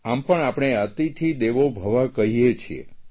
આમ પણ આપણે અતિથિ દેવો ભવ કહીએ છીએ